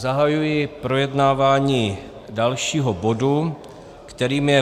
Zahajuji projednávání dalšího bodu, kterým je